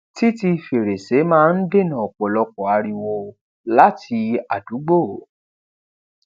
títi fèrèsé máa n dènà òpòlọpò ariwo lati àdúgbò